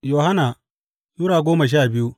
Yohanna Sura goma sha biyu